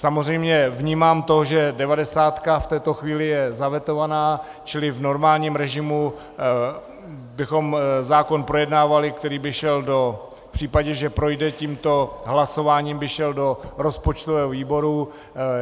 Samozřejmě vnímám to, že devadesátka v této chvíli je zavetována, čili v normálním režimu bychom zákon projednávali, který by šel do... v případě, že projde tímto hlasováním by šel do rozpočtového výboru.